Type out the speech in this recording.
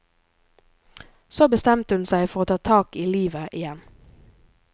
Så bestemte hun seg for å ta tak i livet igjen.